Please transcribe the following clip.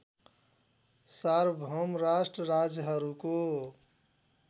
सार्वभौम राष्ट्र राज्यहरूको